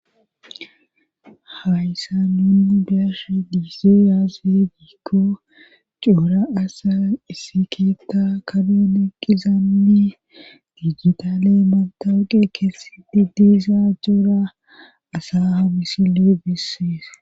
hayssa nuunu biashe diize yaaze diikko cuura asa issi keietta kadoun eqqizanmi dijitale matawuqe keesse di diizaa cuura asa hamisile bisseesa